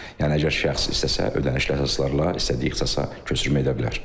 Yəni əgər şəxs istəsə, ödənişli əsaslarla istədiyi ixtisasa köçürmə edə bilər.